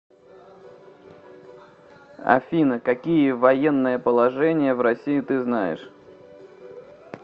афина какие военное положение в россии ты знаешь